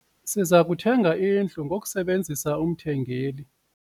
Siza kuthenga indlu ngokusebenzisa umthengeli.